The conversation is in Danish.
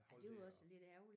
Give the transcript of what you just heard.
Holde ved og